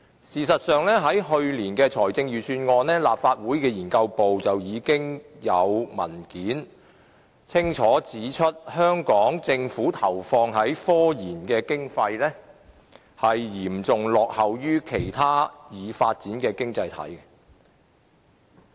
事實上，就去年的財政預算案，立法會秘書處的資料研究組已擬備文件，清楚指出香港政府投放於科研的經費嚴重落後於其他已發展經濟體。